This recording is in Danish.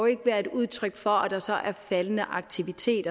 ikke være et udtryk for at der så er faldende aktivitet